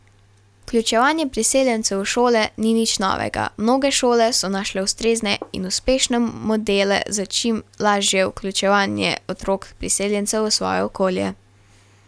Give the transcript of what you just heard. Vključevanje priseljencev v šole ni nič novega, mnoge šole so našle ustrezne in uspešne modele za čim lažje vključevanje otrok priseljencev v svoje okolje.